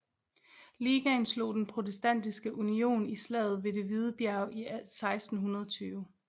Ligaen slog Den Protestantiske Union i slaget ved Det Hvide Bjerg i 1620